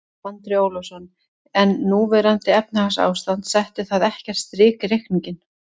Andri Ólafsson: En núverandi efnahagsástand, setti það ekkert strik í reikninginn?